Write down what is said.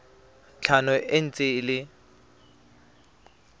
tlhano e ntse e le